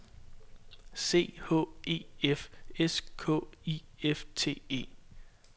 C H E F S K I F T E